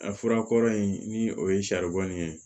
A fura kɔrɔ in ni o ye saribɔn ye